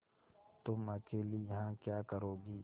तुम अकेली यहाँ क्या करोगी